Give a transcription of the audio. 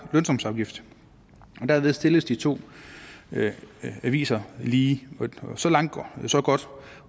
lønsumsafgift og derved stilles de to aviser lige så langt så godt